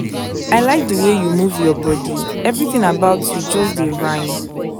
i like the way you move your body everything about you just dey rhyme